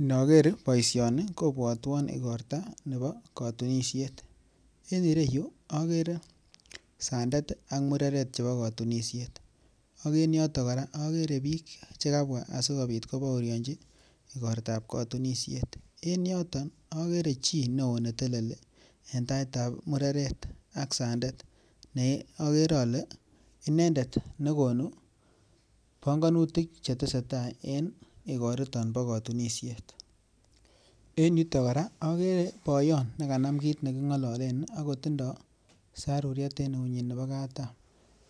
inoker boisioni kobwotwon igorto nebo kotunisiet en ireyu akere sandet ak mureret che kotunishet ak en yoton koraa okere bik chekabwaa asikopit kobooryochi igortap kotunishet. En yoton ogere chi ne oo ne telelii en tait ab mureret ak sandet ogere ole inendet ne gonuu pongonutik che tesetai en igor iton bo kotunishet. En yuu koraa ogere boyon nekanam kit ne kingololen ako tindo saruriet en eunyin nebo katam,